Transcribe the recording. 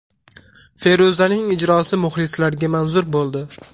Feruzaning ijrosi muxlislarga manzur bo‘ldi.